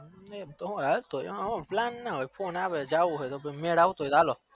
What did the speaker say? એમ ના હોય plan ના હોય તો phone આવે તો જવું હોય તો મેર આવતો હોય તો હાલો